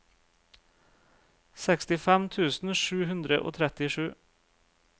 sekstifem tusen sju hundre og trettisju